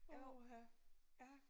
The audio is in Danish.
Åh ha ja